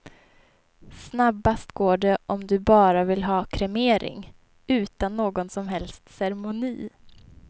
Snabbast går det om du bara vill ha kremering, utan någon som helst ceremoni.